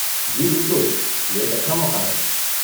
جی بالکل! یہ ایک اچھا موقع ہے۔